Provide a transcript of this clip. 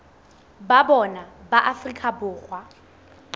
ba bona ba afrika borwa